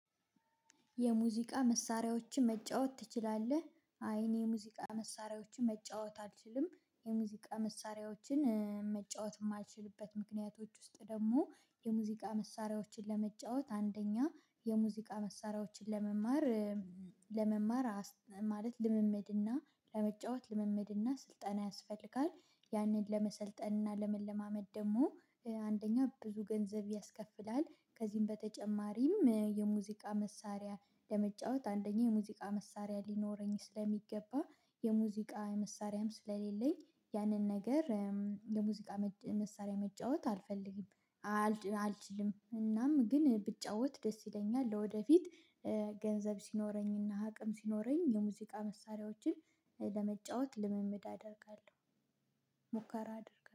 የሙዚቃ መሳሪያዎችን መጫወት ትችላለህ? አይ እኔ የሙዚቃ መሳሪያዎችን መጫወት አልችልም። የሙዚቃ መሳሪያዎችን እ መጫወት እማይችልበት ምክንያቶች ውስጥ ደሞ የሙዚቃ መሳሪያዎችን ለመጫወት አንደኛ የሙዚቃ መሳሪያዎችን ለመማር እም ለመማር አስ ማለት ልምምድ እና ለመጫወት ልምምድ እና ስልጠና ያስፈልጋል። ያንን ለመሰልጠንና ለመለማመድ ደሞ እ አንደኛ ብዙ ገንዘብ ያስከፍላል። ከዚህም በተጨማሪም እ የሙዚቃ መሳሪያ ለመጫወት አንደኛ የሙዚቃ መሳሪያ ሊኖረኝ ስለሚገባ የሙዚቃ መሳሪያም ስለሌለኝ ያንን ነገር እም የሙዚቃ መሳሪያ መጫወት አልፈልግም። አልች አል አልችልም። እናም ግን ብጫወት ደስ ይለኛል ለወደፊት እ ገንዘብ ሲኖረኝ እና አቅም ሲኖረኝ የሙዚቃ መሳሪያዎችን እ ለመጫወት ልምምድ አደርጋለው። ሙከራ አደርጋለው።